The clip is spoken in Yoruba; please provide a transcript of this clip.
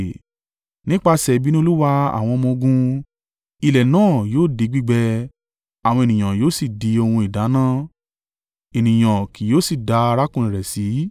Nípasẹ̀ ìbínú Olúwa àwọn ọmọ-ogun ilẹ̀ náà yóò di gbígbẹ àwọn ènìyàn yóò sì di ohun ìdáná, ẹnìkan kì yóò sì dá arákùnrin rẹ̀ sí.